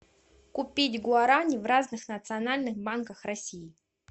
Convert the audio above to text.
купить гуарани в разных национальных банках россии